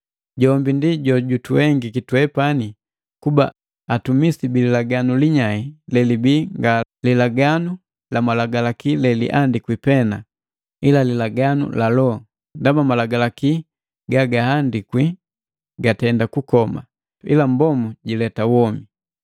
Jombi ndi jojutuhengiki twepani kuba atumisi bili Laganu linyai lelibii nga lilaganu lamalagalaki leliandikwi pee, ila lilaganu la Loho. Ndaba malagalaki gagahandikwi gatenda kukoma, ila Mbombu jileta womi.